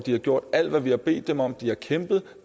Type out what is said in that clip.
har gjort alt hvad vi har bedt dem om de har kæmpet